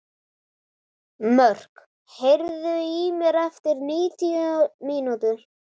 Mörk, heyrðu í mér eftir níutíu mínútur.